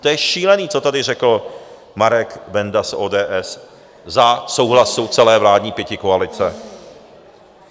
To je šílený, co tady řekl Marek Benda z ODS za souhlasu celé vládní pětikoalice.